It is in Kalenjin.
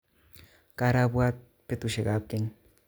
Karabwat betusiek kap keny